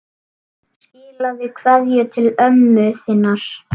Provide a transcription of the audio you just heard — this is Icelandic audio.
Skilaðu kveðju til ömmu þinnar.